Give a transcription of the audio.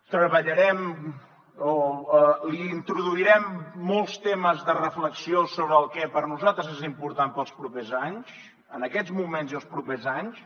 treballarem o l’hi introduirem molts temes de reflexió sobre el que per nosaltres és important per als propers anys en aquests moments i els propers anys